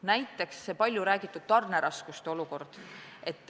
Näiteks need paljuräägitud tarneraskused.